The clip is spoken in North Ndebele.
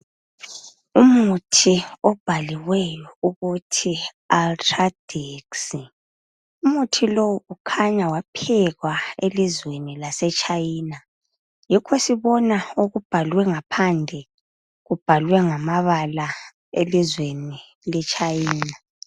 Umuthi obhaliweyo ukuthi Ultradex, umuthi lowu kukhanya waphekwa elizweni laseChina yikho sibona okubhalwe ngaphandle kubhalwe ngamabala elizweni leChina.